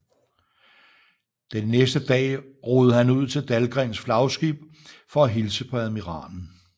Den næste dag roede han ud til Dahlgrens flagskib for at hilse på admiralen